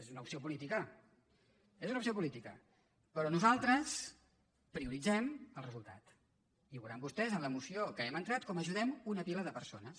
és una opció política és una opció política però nosaltres prioritzem el resultat i ho veuran vostès en la moció que hem entrat com ajudem una pila de persones